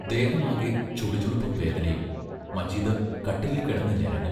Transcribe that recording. ദേഹമാകെ ചുളുചുളുപ്പും വേദനയും മജീദ് കട്ടിലിൽ കിടന്ന് ഞരങ്ങും.